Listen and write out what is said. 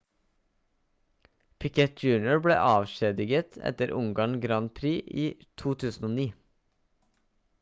piquet jr ble avskjediget etter ungarn grand prix i 2009